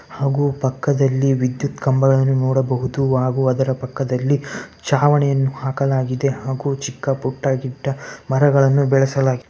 ಹಾಗು ಪಕ್ಕದಲ್ಲಿ ವಿದ್ಯುತ್ ಕಂಬಗಳನ್ನು ನೋಡಬಹುದು ಹಾಗು ಅದರ ಪಕ್ಕದಲ್ಲಿ ಚಾವಣಿಯನ್ನು ಹಾಕಲಾಗಿದೆ ಹಾಗೂ ಚಿಕ್ಕ ಪುಟ್ಟ ಗಿಡ್ಡ ಮರಗಳನ್ನು ಬೆಳೆಸಲಾಗಿದೆ.